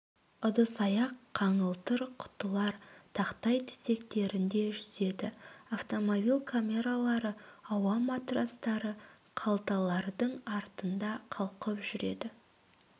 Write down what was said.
ыдыс-аяқ қаңылтыр құтылар тақтай төсектерінде жүзеді автомобиль камералары ауа матрацтары қалталардың артында қалқып жүреді